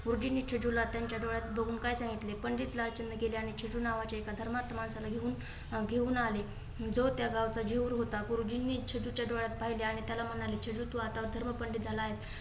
गुरुजींनी छेडूला त्यांच्या डोळ्यात बघून काय सांगितले? पंडित लालचंद गेले आणि छेडू ना नावाच्या एका धर्मात माणसाला घेऊन घेऊन आले. जो त्या गावाचा जेहूर होता. गुरुजींनी छेदुच्या डोळ्यात पाहिले आणि त्याला म्हणाले छेडू तू आता धर्म पंडित झाला आहे.